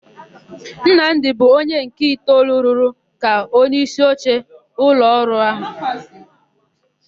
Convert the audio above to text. Nnamdị bụ onye nke itoolu rụrụ ka onyeisioche ụlọọrụ áhụ̀.